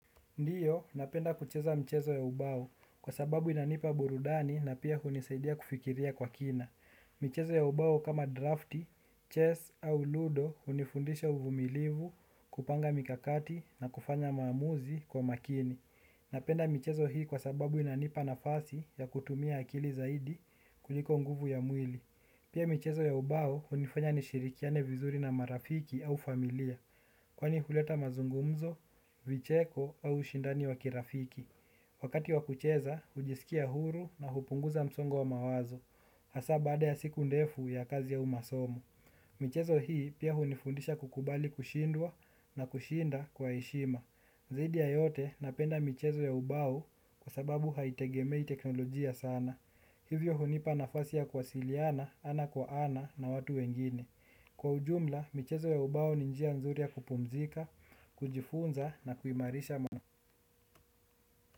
Ndio, napenda kucheza mchezo ya ubao kwa sababu inanipa burudani na pia hunisaidia kufikiria kwa kina. Mchezo ya ubao kama drafti, chess au ludo hunifundisha uvumilivu kupanga mikakati na kufanya maamuzi kwa makini. Napenda michezo hii kwa sababu inanipa nafasi ya kutumia akili zaidi kuliko nguvu ya mwili. Pia michezo ya ubao hunifanya nishirikiane vizuri na marafiki au familia, kwani huleta mazungumzo, vicheko au ushindani wa kirafiki. Wakati wakucheza, hujisikia huru na hupunguza msongo wa mawazo. Hasa baada ya siku ndefu ya kazi au masomo. Michezo hii pia hunifundisha kukubali kushindwa na kushinda kwa heshima. Zaidi ya yote napenda michezo ya ubao kwa sababu haitegemei teknolojia sana. Hivyo hunipa nafasi ya ku wasiliana, ana kwa ana na watu wengine. Kwa ujumla, michezo ya ubao ni njia nzuri ya kupumzika, kujifunza na kuimarisha mwana.